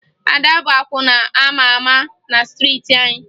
Ada bụ akwụna a ma ama na striiti anyị